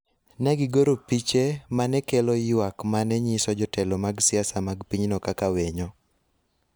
Ne gigoro piche ma ne kelo ywak ma ne nyiso jotelo mag siasa mag pinyno kaka winyo